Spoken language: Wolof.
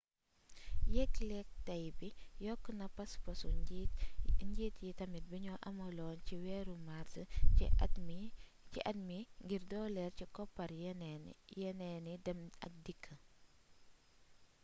yéglék tay bi yokkona paspasu njiit yi tamit bignu amaloon ci wééru mars ci at mi ngir doolél ci koppar yénééni dém ak dikk